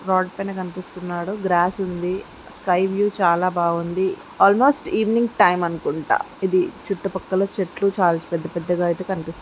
Rod పైన కనిపిస్తున్నాడు grass ఉంది స్కై వ్యూ చాలా బాగుంది అల్మోస్ట్ ఈవెనింగ్ టైమ్ అనుకుంటా ఇది చుట్టూ పక్కల చెట్లు చాల పెద్ద పెద్ద గా అయితే కనిపిస్తున్నాయి.